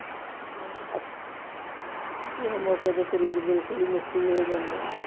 ਕਿਸੇ ਮੌਕੇ ਤੇ ਸਰੀਰ ਬਿਲਕੁਲ ਹੀ ਮਿੱਟੀ ਹੋ ਜਾਂਦਾ।